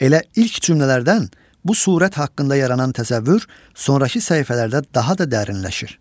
Elə ilk cümlələrdən bu surət haqqında yaranan təsəvvür sonrakı səhifələrdə daha da dərinləşir.